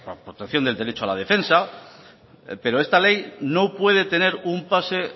protección del derecho a la defensa pero esta ley no puede tener un pase